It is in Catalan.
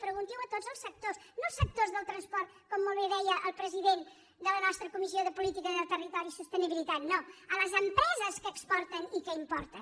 pregunti ho a tots els sectors no als sectors del transport com molt bé deia el president de la nostra comissió de política de territori i sostenibilitat no a les empreses que exporten i que importen